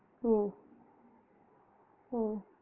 உம் உம்